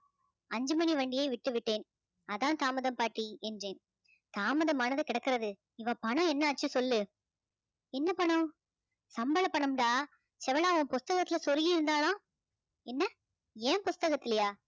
அஞ்சு மணி வண்டியை விட்டு விட்டேன் அதான் தாமதம் பாட்டி என்றேன். தாமதமானது கிடக்கிறது இவ பணம் என்ன ஆச்சு சொல்லு எந்த பணம் சம்பள பணம்டா செவளா உன் புஸ்தகத்துல சொருகி இருந்தாலாம் என்ன என் புஸ்தகத்துலையா